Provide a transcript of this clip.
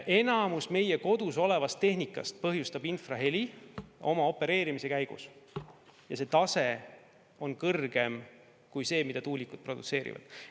Enamus meie kodus olevast tehnikast põhjustab oma opereerimise käigus infraheli, ja see tase on kõrgem kui see, mida tuulikud produtseerivad.